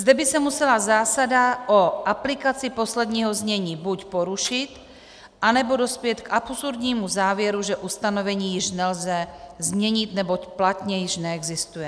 Zde by se musela zásada o aplikaci posledního znění buď porušit, anebo dospět k absurdnímu závěru, že ustanovení již nelze změnit, neboť platně již neexistuje.